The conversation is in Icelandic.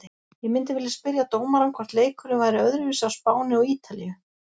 Ég myndi vilja spyrja dómarann hvort leikurinn væri öðruvísi á Spáni og ítalíu?